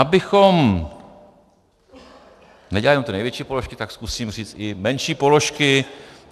Abychom nedělali jen ty největší položky, tak zkusím říct i menší položky.